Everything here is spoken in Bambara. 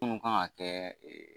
Kunun kan ka kɛ